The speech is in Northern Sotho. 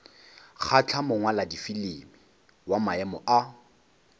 kgahla mongwaladifilimi wa maemo a